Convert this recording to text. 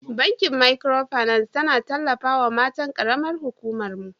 Bankin Micro finance tana tallafawa matan karamar huƙuman mu.